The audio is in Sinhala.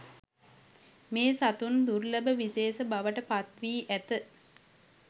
මේ සතුන් දුර්ලභ විශේෂ බවට පත් වී ඇත